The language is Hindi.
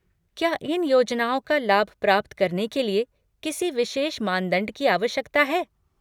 क्या इन योजनाओं का लाभ प्राप्त करने के लिए किसी विशेष मानदंड की आवश्यकता है?